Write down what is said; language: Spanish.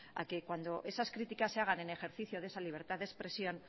a que cuando esas críticas se hagan en ejercicio de esa libertad de expresión